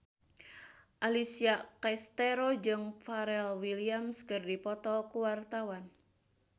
Alessia Cestaro jeung Pharrell Williams keur dipoto ku wartawan